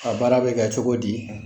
A baara bɛ kɛ cogo di ?